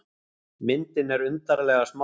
Myndin er undarlega smá.